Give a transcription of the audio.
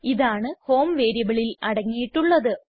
ഇതാണ് ഹോം വേരിയബിളിൽ അടങ്ങിയിട്ടുള്ളത്